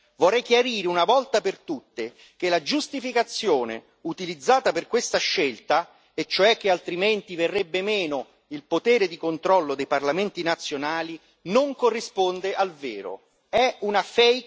Vorrei chiarire una volta per tutte che la giustificazione utilizzata per questa scelta, e cioè che altrimenti verrebbe meno il potere di controllo dei parlamenti nazionali, non corrisponde al vero, è una.